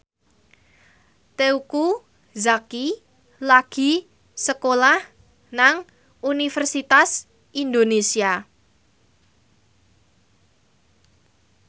Teuku Zacky lagi sekolah nang Universitas Indonesia